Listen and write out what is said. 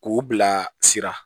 K'u bila sira